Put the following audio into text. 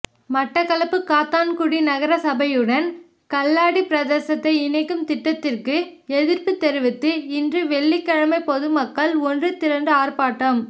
மட்டக்களப்பு காத்தான்குடி நகரசபையுடன் கல்லடி பிரதேசத்தை இணைக்கும் திட்டத்திற்கு எதிர்ப்பு தெரிவித்து இன்று வெள்ளிக்கிழமை பொதுமக்கள் ஒன்று திரண்டு ஆர்பாட்டத்தில்